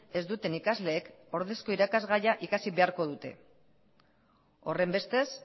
ez duten ikasleek ordezko irakasgaia ikasi beharko dute horrenbestez